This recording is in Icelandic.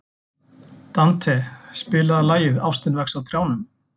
Dante, spilaðu lagið „Ástin vex á trjánum“.